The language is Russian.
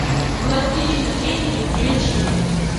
властелины времени включи